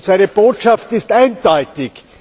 Seine Botschaft ist eindeutig.